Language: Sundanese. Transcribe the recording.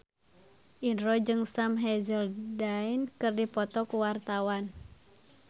Indro jeung Sam Hazeldine keur dipoto ku wartawan